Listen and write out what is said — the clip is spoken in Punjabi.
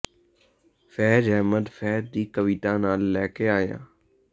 ਫੈਜ ਅਹਿਮਦ ਫੈਜ ਦੀ ਕਵਿਤਾ ਨਾਲ ਲੈ ਕੇ ਆਏ ਹਾਂ